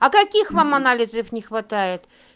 а каких вам анализов не хватает